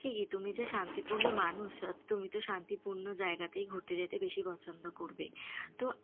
ঠিকই তুমি যে শান্তিপূর্ন মানুষ তুমি তো শান্তিপূর্ন জায়গাতেই ঘুরতে যেতে বেশি পছন্দ করবে তো,